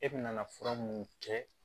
E bɛna fura mun kɛ